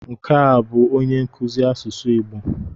Nke a bụ onye nkuzi asụsụ Igbo.